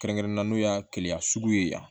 Kɛrɛnkɛrɛnnenya n'o y'a kelen a sugu ye yan